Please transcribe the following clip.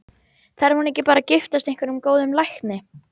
Þarf hún ekki bara að giftast einhverjum góðum lækni?